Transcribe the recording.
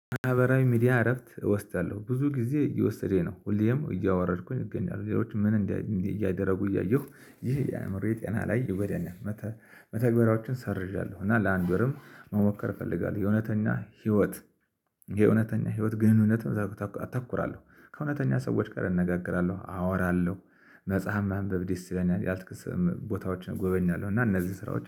ማህበራዊ ሚዲያ እረፍት እወስዳለሁ። ብዙ ጊዜ እየወሰደ ነው። ሁሌም እያወረድኩኝ እገኛለሁ። ሌሎች ምን እያደረጉ እያየሁ። ይሄ የአእምሮ የጤና ላይ ይጎዳኛል። መተግበሪያዎችን ሰርዣለሁ። እና ለአንድ ወርም መሞከር እፈልጋለሁ። የእውነተኛ ህይወት የእውነተኛ ህይወት ግንኙነትም እዛ አተኩራለሁ። ከእውነተኛ ሰዎች ጋር እነጋገራለሁ፤ አወራለሁ፤ መጽሐፍ ማንበብ ደስ ይለኛል። ያልተክስም ቦታዎችን እጎበኛለሁ። እና እነዚህ ስራዎች